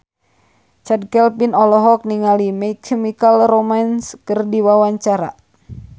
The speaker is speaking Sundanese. Chand Kelvin olohok ningali My Chemical Romance keur diwawancara